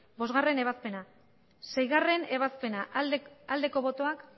bostgarrena ebazpena seigarrena ebazpena aldeko botoak